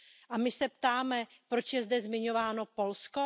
A my se ptáme Poč je zde zmiňováno Polsko?